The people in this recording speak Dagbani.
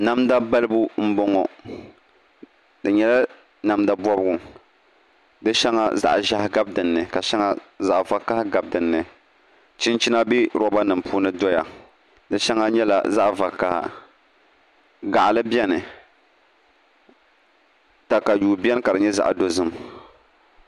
Namda balibuanaboŋa di nyɛla namda bobgu zaɣi ʒiɛhi gabi shɛŋa ni ka zaɣ'vakaɣa gabi shaŋa ni chinchina bɛ robanima puunu di sheŋa nyɛla zaɣvakaɣ gaɣil biɛni takayuu biɛni ka di nyɛ xaɣdozim